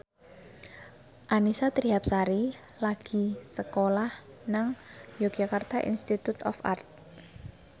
Annisa Trihapsari lagi sekolah nang Yogyakarta Institute of Art